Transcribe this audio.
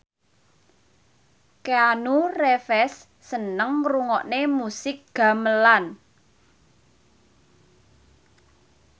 Keanu Reeves seneng ngrungokne musik gamelan